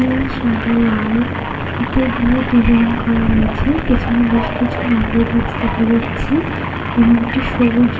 ফিতে দিয়ে ডিজাইন করা রয়েছে পেছনে বেশ কিছু নারকোল গাছ দেখা যাচ্ছে এবং একটি সবুজ রঙের অটো দেখা যাচ্ছে।